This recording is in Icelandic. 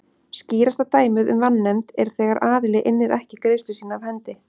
Skýrasta dæmið um vanefnd er þegar aðili innir ekki greiðslu sína af hendi.